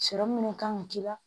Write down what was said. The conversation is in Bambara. Sɔrɔ minnu kan ka k'i la